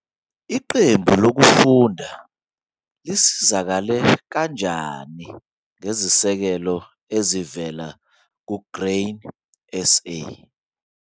Iqembu lokufunda lisizakale kanjani ngezisekelo ezivela kuGrain SA?